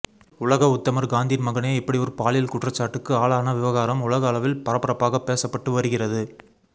உலக உத்தமர் காந்தியின் மகனே இப்படி ஒரு பாலியல் குற்றச்சாட்டுக்கு ஆளான விவகாரம் உலக அளவில் பரபரப்பாக பேசப்பட்டு வருகிறது